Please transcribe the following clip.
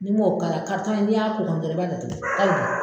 Ni'm'o k'ala karitɔn in n'i y'a k'o kan dɔrɔn i b'a datugu ali bi